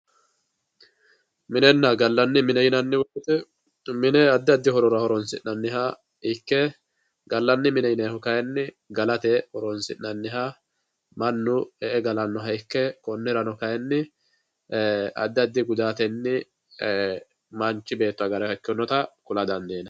Minena galani mine yinani woyite mine adi adi horora horonsinaniha ikke galani mine yinanihu kayini galate horonsinaniha manu e`e galanoja ikke konirano kayini adi adi gudateni manichi beeto agara danidiinota kula dandinani.